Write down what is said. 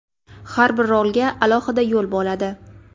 Har bir rolga alohida yo‘l bo‘ladi.